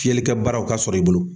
Filikɛ baaraw ka sɔrɔ i bolo.